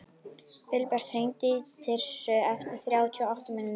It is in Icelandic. Vilbert, hringdu í Tirsu eftir þrjátíu og átta mínútur.